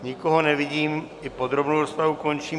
Nikoho nevidím, i podrobnou rozpravu končím.